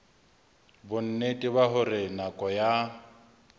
bonnete ba hore nako ya